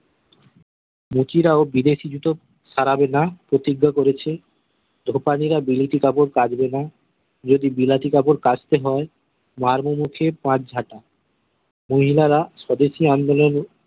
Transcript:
মুচি রাও বিদেশি জুতো সারাবে না প্রতিজ্ঞা করেছে ধোপানিরা বিলেতি কাপর কাচবে না যদি বিলাতি কাপর কাচতে হয়ে মারবো মুখে পাঁচ ঝাঁটা মহিলারা স্বদেশি আন্দোলনে